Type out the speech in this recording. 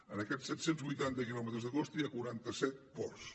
en aquests set cents vuitanta quilòmetres de costa hi ha quaranta set ports